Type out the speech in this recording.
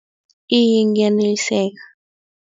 Iye ngiyaneliseka.